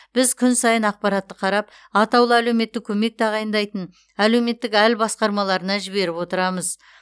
біз күн сайын ақпаратты қарап атаулы әлеуметтік көмек тағайындайтын әлеуметтік әл басқармаларына жіберіп отырамыз